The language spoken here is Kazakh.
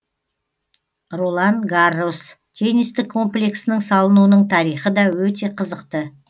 ролан гаррос теннистік комплексінің салынуының тарихы да өте қызықты